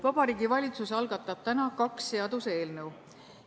Vabariigi Valitsus algatab täna kaks seaduseelnõu.